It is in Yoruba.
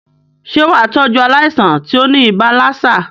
Sé wàá tọ́jú aláìsàn tí óní ibà lassa?